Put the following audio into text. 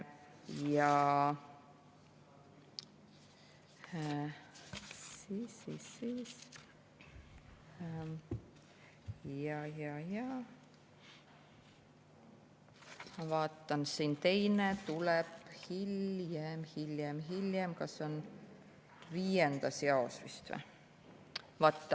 Ma vaatan, et teine tuleb hiljem, see on vist 5. jaos.